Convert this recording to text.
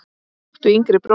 áttu yngri bróður?